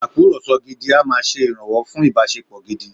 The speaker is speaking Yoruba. Ìtakùrọlsọ gidi a máa ṣe ìrànwọ́ fún ìbáṣepọ̀ gidi.